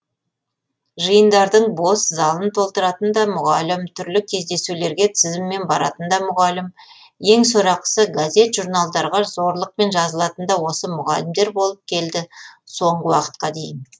жиындардың бос залын толтыратын да мұғалім түрлі кездесулерге тізіммен баратын да мұғалім ең сорақысы газет журналдарға зорлықпен жазылатын да осы мұғалімдер болып келді соңғы уақытқа дейін